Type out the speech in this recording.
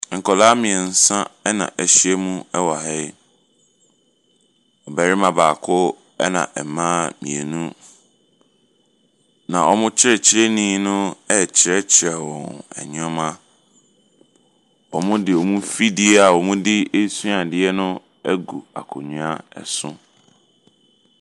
Nkwadaa mmeɛnsa na ahyia mu wɔ ha yi. Barima baako, ɛna mma mmienu, na wɔn kyerɛkyerɛni no rekyerɛkyerɛ wɔn nneɛma. Wɔde wɔn mfidie a wɔde resua adeɛ no agu akonnwa so.